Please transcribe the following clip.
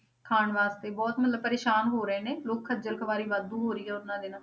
ਖਾਣ ਵਾਸਤੇ ਬਹੁਤ ਮਤਲਬ ਪਰੇਸਾਨ ਹੋ ਰਹੇ ਨੇ, ਲੋਕ ਖੱਝਲ ਖੁਆਰੀ ਵਾਧੂ ਹੋ ਰਹੀ ਆ ਉਹਨਾਂ ਦੇ ਨਾਲ।